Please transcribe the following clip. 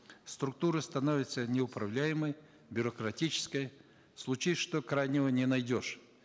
структура становится неуправляемой бюрократической случись что крайнего не найдешь